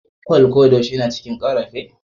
Kwal ko da yaushe yana cikin karfafe?